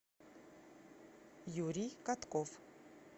юрий катков